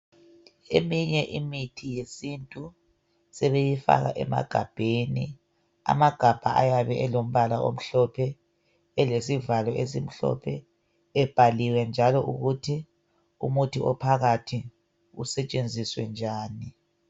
Eminye imithi yesintu sebeyifaka emagabheni amagabha ayabe elombala omhlophe elesivalo esimhlophe ebhaliwe njalo ukuthi umuthi ophakathi usetshenziswe njani.